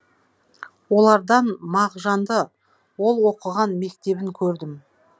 олардан мағжанды ол оқыған мектебін көрдім